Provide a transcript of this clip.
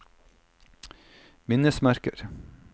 minnesmerker